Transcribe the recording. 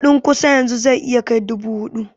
kudin ƙusa yanzu zai iya kai dubu hudu